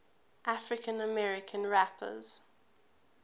african american rappers